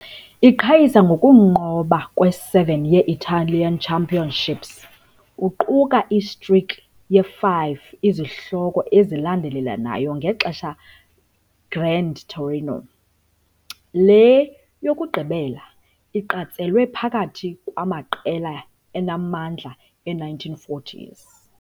Iqhayisa ukunqoba kwe-7 ye-Italian Championships kuquka i-streak ye-5 izihloko ezilandelelanayo ngexesha Grande Torino, le yokugqibela iqatshelwe phakathi kwamaqela anamandla e-1940s.